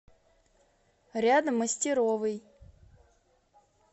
рядом мастеровой